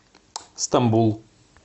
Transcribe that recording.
стамбул